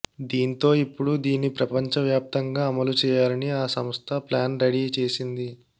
దీంతో ఇప్పుడు దీన్ని ప్రపంచ వ్యాప్తంగా అమలు చేయాలని ఆ సంస్థ ప్లాన్ రెడీ చేసింది